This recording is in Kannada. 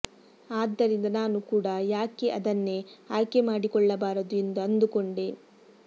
ಆದ್ದರಿಂದ ನಾನು ಕೂಡಾ ಯಾಕೆ ಅದನ್ನೇ ಆಯ್ಕೆ ಮಾಡಿಕೊಳ್ಳಬಾರದು ಎಂದು ಅಂದುಕೊಂಡೆ